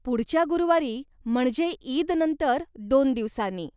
पुढच्या गुरुवारी, म्हणजे ईदनंतर दोन दिवसांनी.